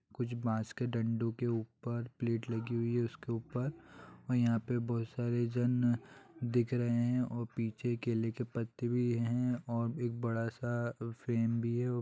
कुछ बास के डंडो के ऊपर प्लेट लगी हुई है उसके ऊपर और यहाँ पे बहुत सारे जन दिख रहे हैं और पीछे केले के पत्ते भी हैं। और एक बड़ा-सा फेन भी है औ --